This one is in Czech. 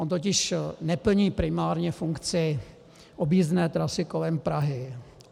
On totiž neplní primárně funkci objízdné trasy kolem Prahy.